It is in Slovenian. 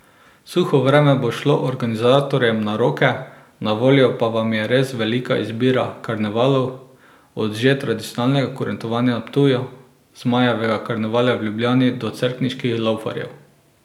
Suho vreme bo šlo organizatorjem na roke, na voljo pa vam je res velika izbira karnevalov, od že tradicionalnega kurentovanja na Ptuju, Zmajevega karnevala v Ljubljani do cerkniških laufarjev.